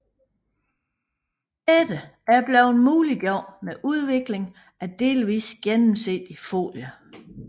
Dette er blevet muliggjort med udvikling af delvist gennemsigtig folie